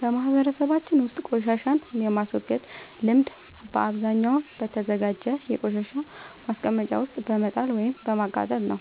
በማህበረሰባችን ውስጥ ቆሻሻን የማስወገድ ልምድ በአብዛኛው በተዘጋጀ የቆሻሻ ማስቀመጫ ውስጥ በመጣል ወይም በማቃጠል ነው።